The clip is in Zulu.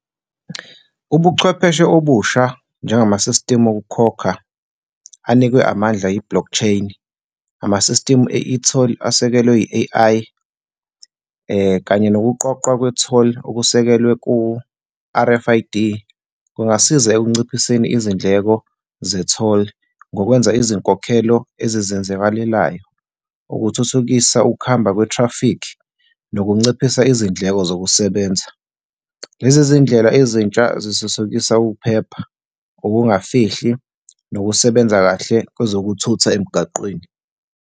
Ubuchwepheshe obusha njengama-system okukukhokha anikwe amandla i-blockchain. Ama-system e-etoll, asekelwe i-A_I kanye nokuqoqwa kwe-toll okusekelwe ku-R_F_I_D kungasiza ekunciphiseni izindleko ze-toll, ngokwenza izinkokhelo ezizenzakalelayo, ukuthuthukisa ukuhamba kwe-traffic nokunciphisa izindleko zokusebenza. Lezi zindlela ezintsha zithuthukisa ukuphepha, ukungafihli nokusebenza kahle kwezokuthutha emgaqweni.